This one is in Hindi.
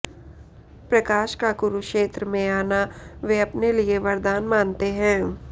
प्रकाश का कुरुक्षेत्र में आना वे अपने लिए वरदान मानते हैं